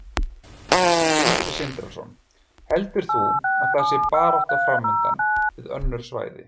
Sindri Sindrason: Heldur þú að það sé barátta framundan við önnur svæði?